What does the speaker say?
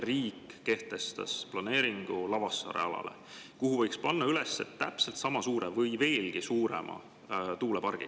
Riik kehtestas planeeringu Lavassaare alale, kuhu võiks panna üles täpselt sama suure või veelgi suurema tuulepargi.